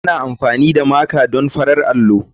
Ana amfani da Maker don farar allo.